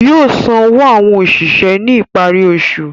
Yóò san owó àwọn òṣìṣẹ́ ní ìparí oṣù